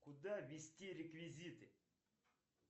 куда ввести реквизиты